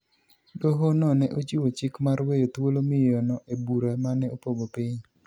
Doho no ne ochiwo chik mar weyo thuolo miyo no e bura mane opogo piny